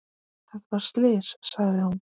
Þetta var slys, sagði hún.